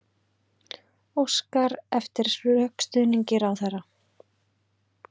Óskar eftir rökstuðningi ráðherra